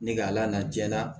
Ne ka ala jɛra